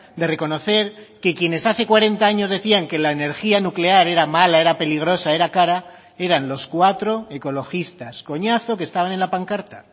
de reconocer que quienes hace cuarenta años decían que la energía nuclear era mala era peligrosa era cara eran los cuatro ecologistas coñazo que estaban en la pancarta